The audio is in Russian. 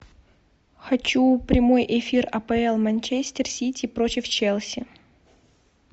хочу прямой эфир апл манчестер сити против челси